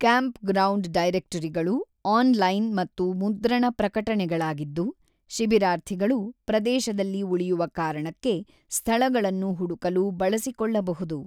Campground ಡೈರೆಕ್ಟರಿಗಳು online ಮತ್ತು ಮುದ್ರಣ ಪ್ರಕಟಣೆಗಳಾಗಿದ್ದು, ಶಿಬಿರಾರ್ಥಿಗಳು ಪ್ರದೇಶದಲ್ಲಿ ಉಳಿಯುವ ಕಾರಣಕ್ಕೆ ಸ್ಥಳಗಳನ್ನು ಹುಡುಕಲು ಬಳಸಿಕೊಳ್ಳಬಹುದು.